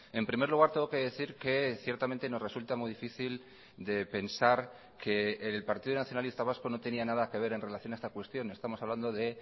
en primer lugar tengo que decir que ciertamente nos resulta muy difícil de pensar que el partido nacionalista vasco no tenía nada que ver en relación a esta cuestión estamos hablando de